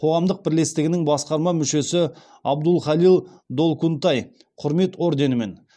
қоғамдық бірлестігінің басқарма мүшесі абдулхалил долкунтай құрмет орденімен